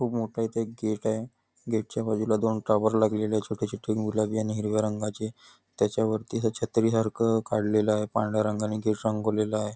खूप मोठं इथे एक गेट आहे गेट च्या बाजूला दोन टॉवर लागलेले आहेत छोटे छोटे गुलाबी आणि हिरव्या रंगाचे त्याच्या वरती असं छत्री सारखं काढलेलं आहे पांढऱ्या रंगानी रंगवलेलं आहे.